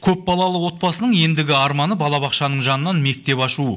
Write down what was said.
көпбалалы отбасының ендігі арманы балабақшаның жанынан мектеп ашу